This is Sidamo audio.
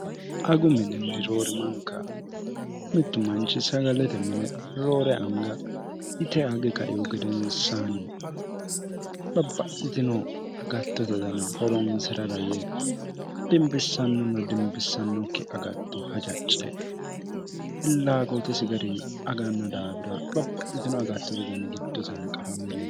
agu mininni roori manka mittu manchi sagalete mine roore anga yite agi kaihu gedensaanni babba'itino agattote dana horonsi'rara yee dimbissannonna dimbissannokki agatto hajace pillaaqootesi gari aganno daafira babba'litino agattote dani giddosanqafamile